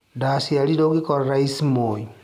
Ndaciarirwo ngĩkora Raici Moi.